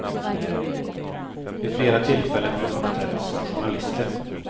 Vid flera tillfällen har de uppträtt som journalister.